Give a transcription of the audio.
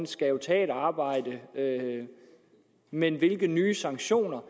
skal tage et arbejde men hvilke nye sanktioner